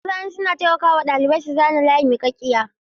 Mazani suna taimaka wa ɗalibai su zana layi miƙaƙƙiya.